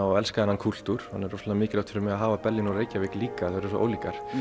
og elska þennan kúltúr þannig að rosalega mikilvægt fyrir mig að hafa Berlín og Reykjavík líka þær eru svo ólíkar